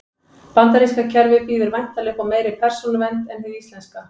Bandaríska kerfið býður væntanlega upp á meiri persónuvernd en hið íslenska.